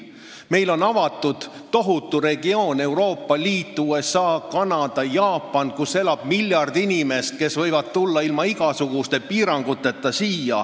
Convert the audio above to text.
Meil on tohutu avatud regioon – Euroopa Liit, USA, Kanada, Jaapan –, kus elab miljard inimest, kes võivad siia tulla ilma igasuguste piiranguteta.